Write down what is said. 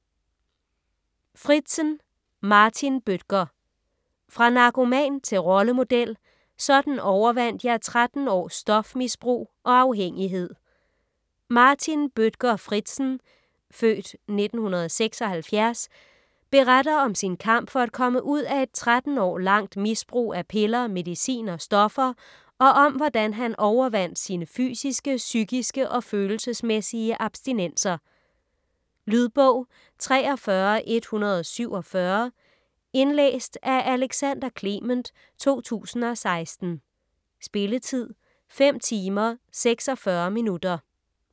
Fritzen, Martin Bødker: Fra narkoman til rollemodel: sådan overvandt jeg 13 års stofmisbrug og afhængighed Martin Bødker Fritzen (f. 1976) beretter om sin kamp for at komme ud af et 13 år langt misbrug af piller, medicin og stoffer, og om hvordan han overvandt sine fysiske, psykiske og følelsesmæssige abstinenser. Lydbog 43147 Indlæst af Alexander Clement, 2016. Spilletid: 5 timer, 46 minutter.